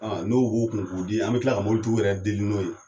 n'o b'u kun k'o di, an mi kila ka mɔbilitigi yɛrɛ deli n'o ye.